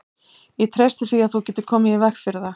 Ég treysti því, að þú getir komið í veg fyrir það